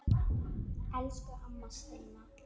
Elsku amma Steina.